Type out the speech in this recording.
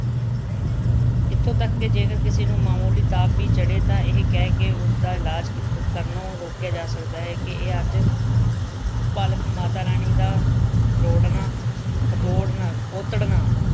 ਇੱਥੌ ਤੱਕ ਕਿ ਜੇਕਰ ਕਿਸੇ ਨੂੰ ਮਾਮੂਲੀ ਤਾਪ ਵੀ ਚੜ੍ਹੇ ਤਾਂ ਇਹ ਕਹਿ ਉਸਦਾ ਇਲਾਜ ਕੀਤਾ, ਕਰਨੋ ਰੋਕਿਆ ਜਾ ਸਕਦਾ ਹੈ ਕਿ ਇਹ ਅੱਜ ਭਲਕ ਮਾਤਾ ਰਾਣੀ ਦਾ ਖਰੋੜਣਾ ਖਤੋੜਣਾ ਖੋਤੜਣਾ